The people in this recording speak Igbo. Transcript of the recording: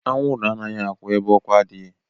Awụrụ anaghi akwụ ebe ọkụ adịghi